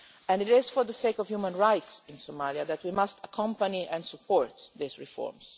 It is for the sake of human rights in Somalia that we must accompany and support these reforms.